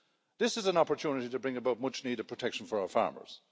This is an opportunity to bring about much needed protection for our farmers.